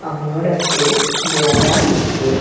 அவனோட ஃபேஸ் பிளர்ரா இருக்கு.